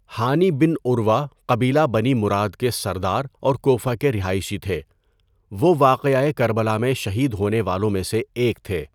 ہانی bin Urwa قبیلہ Bani Murad کے سردار اور کوفہ کے رہائشی تھے۔ وہ واقعہ کربلا میں شہید ہونے والوں میں سے ایک تھے۔